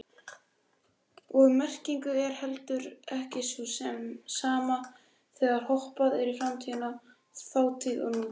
Og merkingin er heldur ekki sú sama þegar hoppað er í framtíð, þátíð og nútíð.